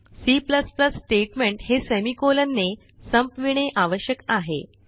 C statement हे semicolon ने संपविणे आवश्यक आहे